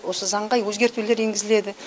осы заңға өзгертулер енгізіледі